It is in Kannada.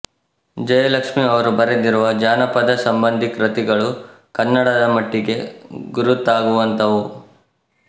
ಜಯಲಕ್ಷ್ಮಿ ಅವರು ಬರೆದಿರುವ ಜಾನಪದ ಸಂಬಂಧೀ ಕೃತಿಗಳು ಕನ್ನಡದ ಮಟ್ಟಿಗೆ ಗುರುತಾಗುವಂಥವು